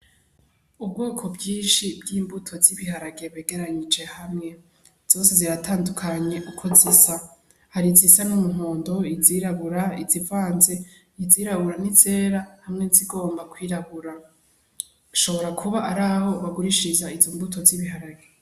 Ubwoko bwinshi bw'imbuto z'ibiharage begeranije hamwe, zose ziratandukanye uko zisa. Hari izisa n'umuhondo, izirabura, izivanze izirabura n'izera hamwe n'izigomba kwirabura. Hashobora kuba ari aho bagurishiriza izo mbuto z'ibiharage.